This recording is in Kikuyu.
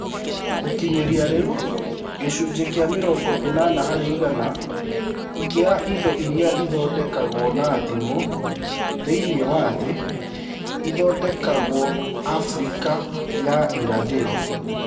Gũkinyĩria rĩu, gĩcunjĩ kĩa mĩrongo ĩnana harĩ igana kĩa indo iria ithondekagwo na thimũ thĩinĩ wa thĩ, ithondekagwo Afrika ya Irathĩro.